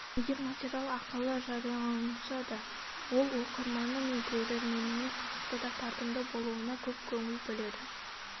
егер материал ақылы жарияланса да ол оқырманы мен көрерменіне қызықты да тартымды болуына көп көңіл бөледі